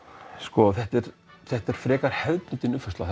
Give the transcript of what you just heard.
þetta er þetta er frekar hefðbundin uppfærsla